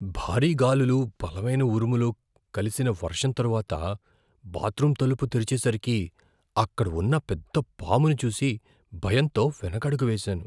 భారీ గాలులు, బలమైన ఉరుములు కలిసిన వర్షం తరువాత, బాత్రూమ్ తలుపు తెరిచేసరికి, అక్కడ ఉన్న పెద్ద పామును చూసి భయంతో వెనకడుగు వేసాను.